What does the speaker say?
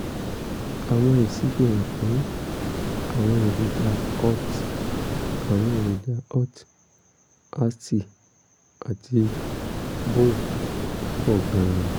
àwọn èsì fihàn pé àwọn èròjà alt àwọn èròjà alt ast àti bun pọ̀ gan-an